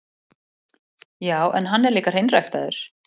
Já, en hann er líka hreinræktaður.